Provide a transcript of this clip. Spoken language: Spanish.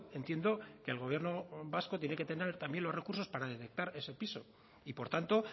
entiendo que el gobierno vasco tiene que tener también los recursos para detectar ese piso y por tanto